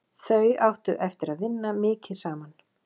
Þau áttu eftir að vinna mikið saman.